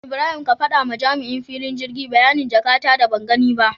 Ibrahim ka faɗawa jami'in filin girgi bayanin jaka ta da bangani ba